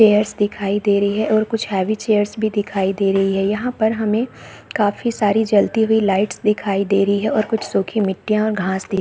chairs दिखाई दे रही है और कुछ हेवी चेयर्स भी दिखाई दे रही है यहाँ पर हमे काफी सारी जलती हुई लाइट दिखाई दे रही है और कुछ सुखी मिट्टियाँ और घास --